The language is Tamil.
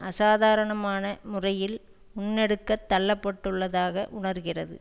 அசாதாரணமான முறையில் முன்னெடுக்கத் தள்ளப்பட்டுள்ளதாக உணர்கிறது